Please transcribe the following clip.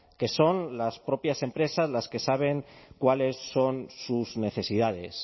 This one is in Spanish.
que son las propias empresas las que saben cuáles son sus necesidades